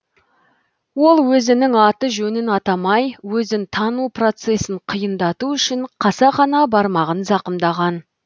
ол өзінің аты жөнін атамай өзін тану процесін қиындату үшін қасақана бармағын зақымдаған